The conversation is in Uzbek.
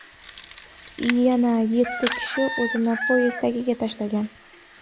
Yana yetti kishi o‘zini poyezd tagiga tashlagan.